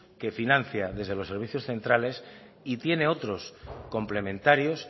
que financia desde los servicios centrales y tiene otros complementarios